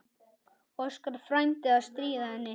Óskar frændi að stríða henni.